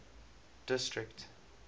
district